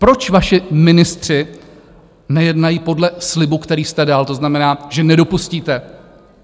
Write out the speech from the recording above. Proč vaši ministři nejednají podle slibu, který jste dal, to znamená, že nedopustíte?